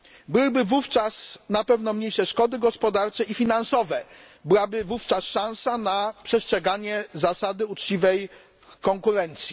Byłyby wówczas na pewno mniejsze szkody gospodarcze i finansowe, byłaby wówczas szansa na przestrzeganie zasady uczciwej konkurencji.